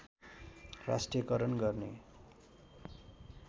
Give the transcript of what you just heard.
राष्ट्रियकरण गर्ने